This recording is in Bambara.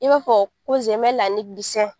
I b'a fɔ ko